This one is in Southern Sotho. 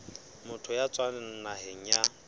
motho ya tswang naheng ya